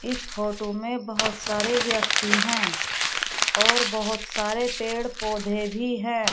इस फोटो में बहुत सारे व्यक्ति हैं और बहुत सारे पेड़ पौधे भी हैं।